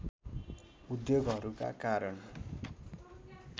उद्योगहरूका कारण